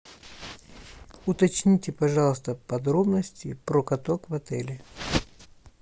уточните пожалуйста подробности про каток в отеле